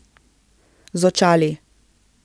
Z očali.